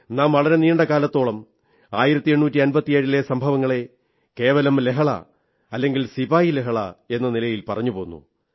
നാം വളരെ നീണ്ട കാലത്തോളം 1857 ലെ സംഭവങ്ങളെ കേവലം ലഹള അല്ലെങ്കിൽ ശിപായി ലഹള എന്ന നിലയിൽ പറഞ്ഞു പോന്നു